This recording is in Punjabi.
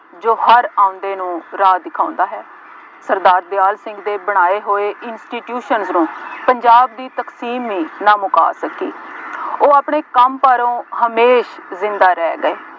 ਜੋ ਹਰ ਆਉਂਦੇ ਨੂੰ ਰਾਹ ਦਿਖਾਉਂਦਾ ਹੈ। ਸਰਦਾਰ ਦਿਆਲ ਸਿੰਘ ਦੇ ਬਣਾਏ ਹੋਏ institutions ਨੂੰ ਪੰਜਾਬ ਦੀ ਤਕਸੀਮੀ ਨਾਮੁਕਾਤ ਸੀ। ਉਹ ਆਪਣੇ ਕੰਮ ਪਾਰੋਂ ਹਮੇਸ਼ ਜ਼ਿੰਦਾ ਰਹਿ ਗਏ।